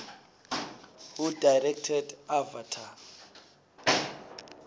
who directed avatar